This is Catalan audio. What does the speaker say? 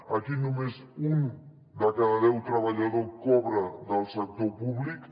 aquí només un de cada deu treballadors cobra del sector públic